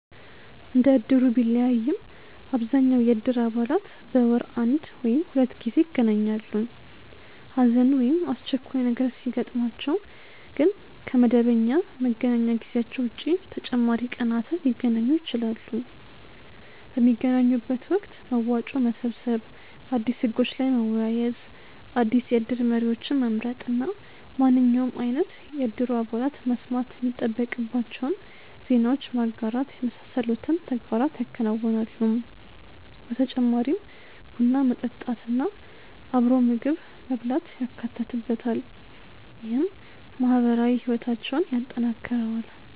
እንደ እድሩ ቢለያይም አብዛኛው የእድር አባላት በወር አንድ ወይም ሁለት ጊዜ ይገናኛሉ። ሀዘን ወይም አስቸኳይ ነገር ሲያጥማቸው ግን ከ መደበኛ መገናኛ ጊዜያቸው ውጪ ተጨማሪ ቀናትን ሊገናኙ ይችላሉ። ። በሚገናኙበት ወቅት መዋጮ መሰብሰብ፣ አዲስ ህጎች ላይ መወያየት፣ አዲስ የእድር መሪዎችን መምረጥ እና ማንኛውም አይነት የእድሩ አባላት መስማት የሚጠበቅባቸውን ዜናዎች ማጋራት የመሳሰሉትን ተግባራት ያከናውናሉ። በተጨማሪም ቡና መጠጣት እና ምግብ አብሮ መብላት ይካተትበታል። ይህም ማህበራዊ ህይወታቸውን ያጠናክረዋል።